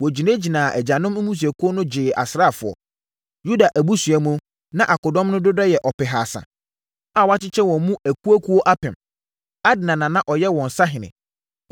Wɔgyinaa agyanom mmusuakuo so gyee asraafoɔ. Yuda abusua mu, na akodɔm no dodoɔ yɛ ɔpehasa (300,000) a wɔakyekyɛ wɔn mu akuakuo apem (1,000). Adna na na ɔyɛ wɔn sahene.